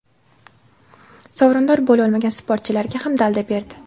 sovrindor bo‘lolmagan sportchilarga ham dalda berdi.